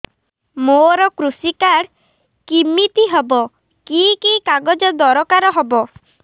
ମୋର କୃଷି କାର୍ଡ କିମିତି ହବ କି କି କାଗଜ ଦରକାର ହବ